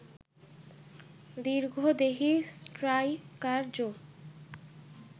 দীর্ঘদেহী striker Joe